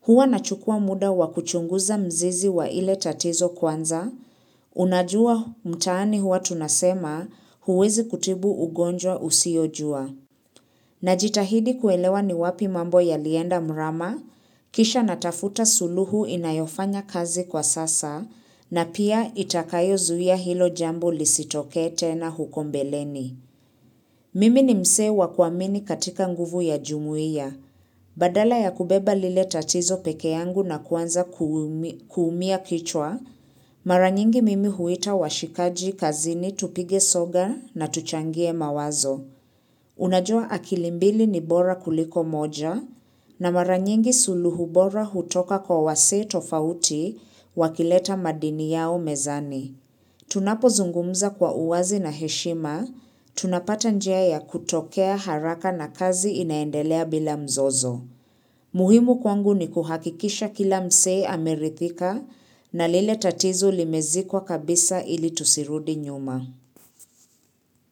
Huwa na chukua muda wakuchunguza mzizi wa ile tatizo kwanza, unajua mtaani hua tunasema huwezi kutibu ugonjwa usiyojua. Najitahidi kuelewa ni wapi mambo yalienda mrama, kisha natafuta suluhu inayofanya kazi kwa sasa, na pia itakayozuia hilo jambo lisitokee tena huko mbeleni. Mimi ni msee wa kuamini katika nguvu ya jumuia. Badala ya kubeba lile tatizo pekee yangu na kuanza kuumia kichwa, mara nyingi mimi huita washikaji kazini tupige soga na tuchangie mawazo. Unajua akili mbili ni bora kuliko moja na mara nyingi suluhu bora hutoka kwa wasee tofauti wakileta madini yao mezani. Tunapozungumza kwa uwazi na heshima, tunapata njia ya kutokea haraka na kazi inaendelea bila mzozo. Muhimu kwangu ni kuhakikisha kila msee ameridhika na lile tatizo limezikwa kabisa ili tusirudi nyuma.